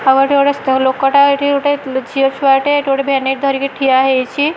ଆଉ ଏଠି ଗୋଟେ ଲୋକ ଟା ଏଠି ଗୋଟେ ଝିଅ ଛୁଆ ଟେ ଏଠି ଗୋଟେ ଭ୍ୟାନିଟ ଧରିକି ଠିଆ ହେଇଛି।